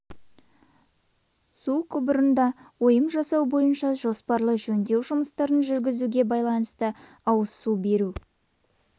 мм су құбырында ойым жасау бойынша жоспарлы жөндеу жұмыстарын жүргізуге байланысты ауыз су беру